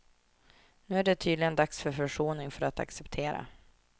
Nu är det tydligen dags för försoning, för att acceptera.